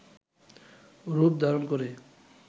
রূপ ধারণ করে